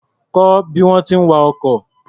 Kọ́ bí wọ́n ti ń wa ọkọ̀.